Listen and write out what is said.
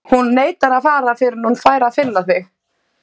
Hún neitar að fara fyrr en hún fær að finna þig.